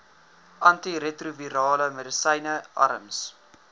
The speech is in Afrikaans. antiretrovirale medisyne arms